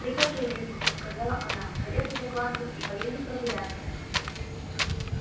прикажи лизонька сказала она карету закладывать и поедем прогуляться